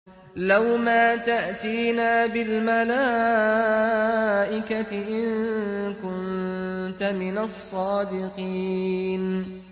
لَّوْ مَا تَأْتِينَا بِالْمَلَائِكَةِ إِن كُنتَ مِنَ الصَّادِقِينَ